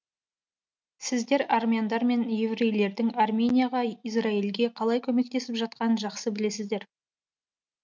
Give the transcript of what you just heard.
сіздер армяндар мен еврейлердің арменияға израильге қалай көмектесіп жатқанын жақсы білесіздер